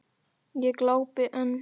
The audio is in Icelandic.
Ég glápi enn.